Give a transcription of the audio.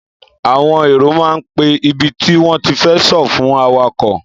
Àwòn èro ma ń pẹ ìbítì won tì fẹ sọ̀ fún àwàkọ́